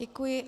Děkuji.